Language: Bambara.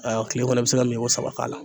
kile kɔnɔ i bi se ka min ko saba k'a la